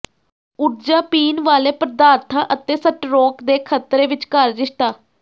ਊਰਜਾ ਪੀਣ ਵਾਲੇ ਪਦਾਰਥਾਂ ਅਤੇ ਸਟਰੋਕ ਦੇ ਖਤਰੇ ਵਿਚਕਾਰ ਰਿਸ਼ਤਾ